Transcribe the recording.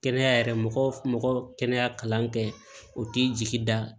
Kɛnɛya yɛrɛ mɔgɔ mɔgɔ kɛnɛya kalan kɛ o t'i jigi da